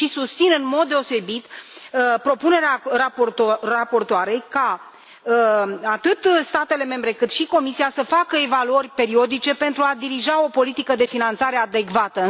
Și susțin în mod deosebit propunerea raportoarei ca atât statele membre, cât și Comisia să facă evaluări periodice pentru a dirija o politică de finanțare adecvată.